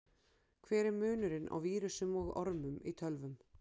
Hver er munurinn á vírusum og ormum í tölvum?